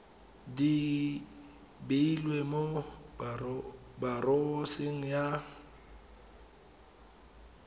di beilweng mo boraoseng ya